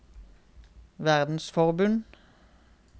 verdensforbund